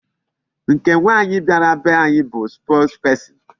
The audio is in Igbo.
Nke nwaanyị bịara be anyị bụ spokesperson.